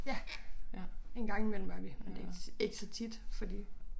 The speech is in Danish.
Ja en gang imellem er vi men det ikke så tit fordi